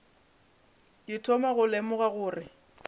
ke thoma go lemoga gore